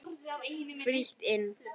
Frítt inn.